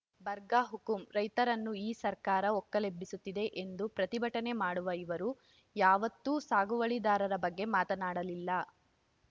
ಬರ್ಗ ಹುಕುಂ ರೈತರನ್ನು ಈ ಸರ್ಕಾರ ಒಕ್ಕಲೆಬ್ಬಿಸುತ್ತಿದೆ ಎಂದು ಪ್ರತಿಭಟನೆ ಮಾಡುವ ಇವರು ಯಾವುತ್ತೂ ಸಾಗುವಳಿದಾರರ ಬಗ್ಗೆ ಮಾತನಾಡಲಿಲ್ಲ